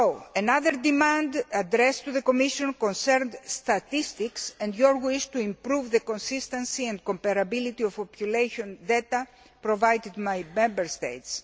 Another demand addressed to the Commission concerns statistics and your wish to improve the consistency and comparability of population data provided by Member States.